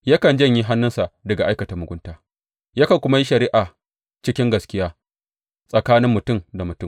Yakan janye hannunsa daga aikata mugunta yakan kuma yi shari’a cikin gaskiya tsakanin mutum da mutum.